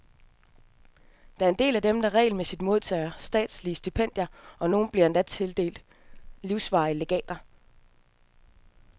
Der er en del af dem, der regelmæssigt modtager statslige stipendier, og nogle bliver endda tildelt livsvarige legater.